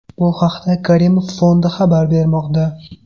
Bu haqda Karimov Fondi xabar bermoqda .